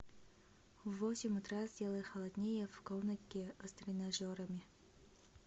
в восемь утра сделай холоднее в комнатке с тренажерами